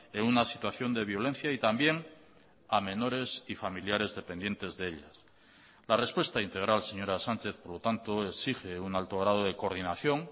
en una situación de violencia y también a menores y familiares dependientes de ellas la respuesta integral señora sánchez por lo tanto exige un alto grado de coordinación